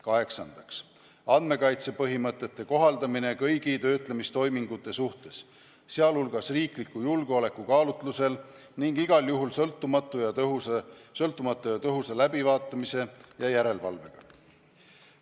Kaheksandaks, andmekaitse põhimõtete kohaldamine kõigi töötlemistoimingute suhtes, sh riikide julgeoleku kaalutlusel, ning igal juhul sõltumatu ja tõhusa läbivaatamise ja järelevalvega.